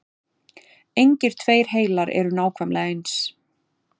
engir tveir heilar eru nákvæmlega eins